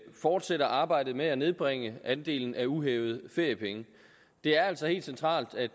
fortsætter arbejdet med at nedbringe andelen af uhævede feriepenge det er altså helt centralt at